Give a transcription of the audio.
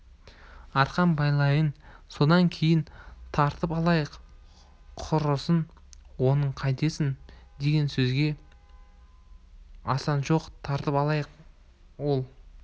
арқан байлайын содан кейін тартып алайық құрысын оны қайтесің деген сөзге асан жоқ тартып алайық ол